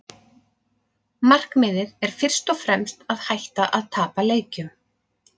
Markmiðið er fyrst og fremst að hætta að tapa leikjum.